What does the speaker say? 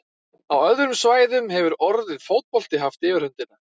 Á öðrum svæðum hefur orðið fótbolti haft yfirhöndina.